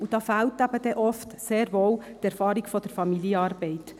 Oft fehlt sehr wohl die Erfahrung der Familienarbeit.